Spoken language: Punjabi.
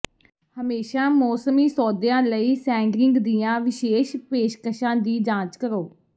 ਹਮੇਸ਼ਾਂ ਮੌਸਮੀ ਸੌਦਿਆਂ ਲਈ ਸੈਂਡਰਿੰਗ ਦੀਆਂ ਵਿਸ਼ੇਸ਼ ਪੇਸ਼ਕਸ਼ਾਂ ਦੀ ਜਾਂਚ ਕਰੋ